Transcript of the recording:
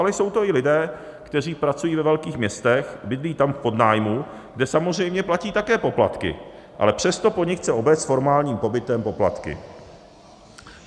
Ale jsou to i lidé, kteří pracují ve velkých městech, bydlí tam v podnájmu, kde samozřejmě platí také poplatky, ale přesto po nich chce obec s formálním pobytem poplatky.